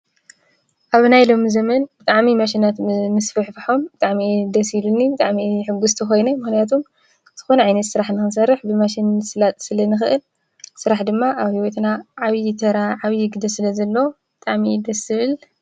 ኣብ ናይ ሎሚ ዘመን ብጣዕሚ ማሽናት ምስፍሕፍሖም ብጣዕሚ እዩ ደስ ኢሉኒ፡፡ ብጣዕሚ እየ ሕጉስቲ ኮይነ ምኽንያቱም ዝኾነ ዓይነት ስራሕ ንኽንሰርሕ ብማሽን ንምስላጥ ስለንክእል ስራሕ ድማ ኣብ ሂወትና ዓብይ ተራ ዓብይ ግደ ስለዘለዎ ብጣዕሚ እዩ ደስ ዝብል።